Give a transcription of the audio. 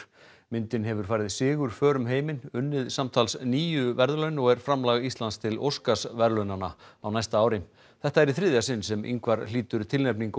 myndin hefur farið sigurför um heiminn unnið samtals níu verðlaun og er framlag Íslands til Óskarsverðlaunanna á næsta ári þetta er í þriðja sinn sem Ingvar hlýtur tilnefningu